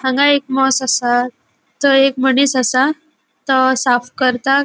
आंग एक मोस असा तो एक मुनिस असा तो साफ करता.